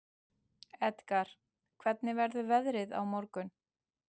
Edgar, hvernig verður veðrið á morgun?